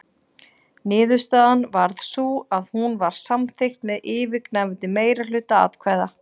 Niðurstaðan varð sú að hún var samþykkt með yfirgnæfandi meirihluta atkvæða.